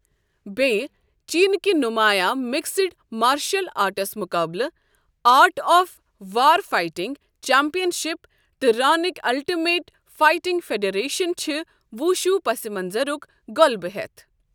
بیٚیہٕ، چینٕکہِ نُمایاں مکسڈ مارشل آرٹس مقابلہٕ، art of war fighting championship, تہٕ رانِک الٹِمیٹ فائٹنگ فیڈریشن چھِ وُشوٗ پس منطرُک غلبہٕ ہٮ۪تھ۔